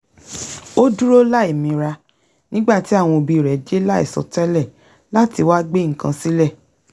o dúró láìmira nígbà tí àwọn òbí rẹ̀ dé láìsọtẹ́lẹ̀ láti wá gbé nǹkan sílẹ̀